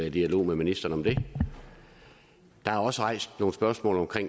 i dialog med ministeren om det der er også rejst nogle spørgsmål om